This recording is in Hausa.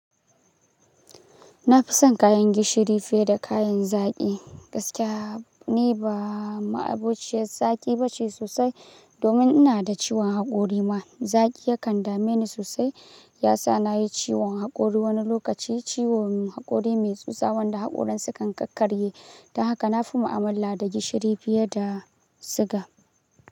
Na fi son kayan gishiri fiye da kayan zaki. Gaskiya ni ba ma'abociyar zaki ba ce sosai domin ina da ciwon hakori ma. Zaki yakan dame ni sosai, ya sa na yi ciwon hakori wani lokaci. Ciwon hakori mai tsutsa wanda hakoran sukan kakkarye. Don haka na fi ma'amala da gishiri fiye da siga.